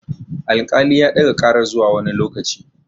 Al-kali ya ɗaga karar zuwa wani lokaci